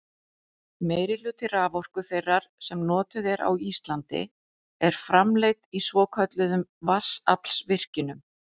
Meirihluti raforku þeirrar sem notuð er á Íslandi er framleidd í svokölluðum vatnsaflsvirkjunum.